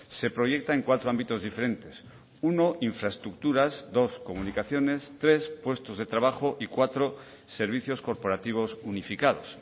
se proyecta en cuatro ámbitos diferentes uno infraestructuras dos comunicaciones tres puestos de trabajo y cuatro servicios corporativos unificados